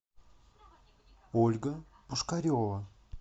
ольга пушкарева